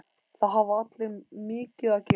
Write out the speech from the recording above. Það hafa allir mikið að gera.